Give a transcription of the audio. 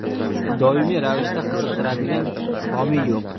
doimiy ravishda qiziqtiradigan homiy yo‘q.